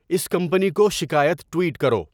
اس company کو شکایت tweet کرو